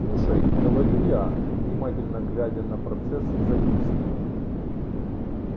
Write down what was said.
слушай говорю я внимательно глядя на процесс загрузки